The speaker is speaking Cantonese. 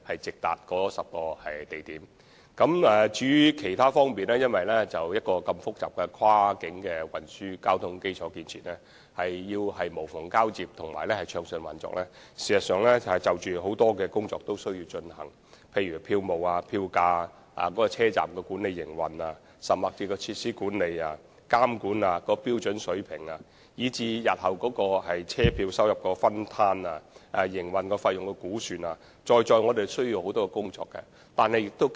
至於其他方面事宜，由於涉及複雜的跨境運輸交通基礎建設，要做到無縫交接和暢順運作，事實上有很多事情需要處理，例如票務、票價、車站管理和營運，甚至設施管理、監管、標準水平，以至日後的車票收入分攤、營運費用估算，在在需要雙方合作進行磋商。